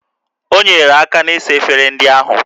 O nyeere aka na-ịsa efere ndị ahụ